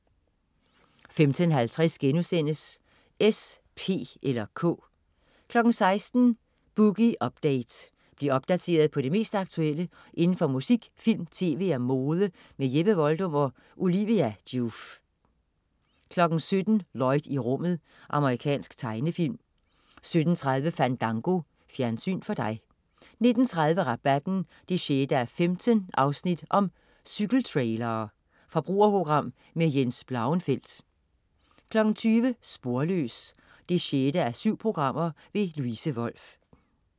15.50 S, P eller K* 16.00 Boogie Update. Bliv opdateret på det mest aktuelle inden for musik, film, tv og mode. Jeppe Voldum og Olivia Joof 17.00 Lloyd i rummet. Amerikansk tegnefilm 17.30 Fandango. Fjernsyn for dig 19.30 Rabatten 6:15. Cykeltrailere. Forbrugerprogram med Jens Blauenfeldt 20.00 Sporløs 6:7. Louise Wolff